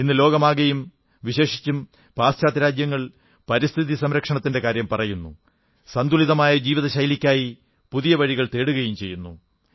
ഇന്ന് ലോകമാകെയും വിശേഷിച്ചും പാശ്ചാത്യരാജ്യങ്ങൾ പരിസ്ഥിതി സംരക്ഷണത്തിന്റെ കാര്യം പറയുന്നു സന്തുലിതമായ ജീവിത ശൈലിക്കായി പുതിയ വഴികൾ തേടുകയും ചെയ്യുന്നു